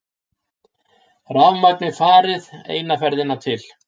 Rafmagnið farið eina ferðina til.